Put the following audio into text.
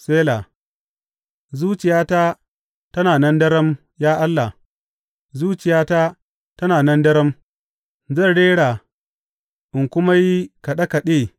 Sela Zuciyata tana nan daram, ya Allah, zuciyata tana nan daram; zan rera in kuma yi kaɗe kaɗe.